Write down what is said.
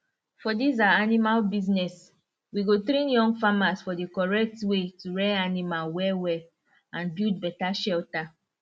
for dis our animal business we go train young farmers for the correct way to rear animal wellwell and build better shelter